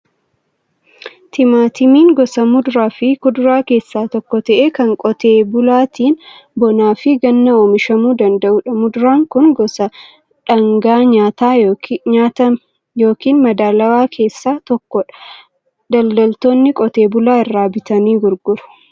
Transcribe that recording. Timaatimiin gosa muduraa fi kuduraa keessaa tokko ta'ee, kan qotee bulaatiin bonaa fi ganna oomishamuu danda'udha. Muduraan kun gosa dhaangaa nyaataa yookiin madaalawaa keessaa tokkodha. Daldaltoonni qotee bulaa irraa bitanii gurguru.